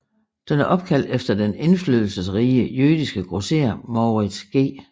Den er opkaldt efter den indflydelsesrige jødiske grosserer Moritz G